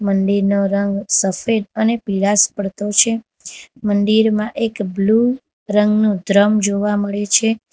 મંદિરનો રંગ સફેદ અને પીરાશ પડતો છે મંદિરમાં એક બ્લુ રંગનું દ્રમ જોવા મળે છે.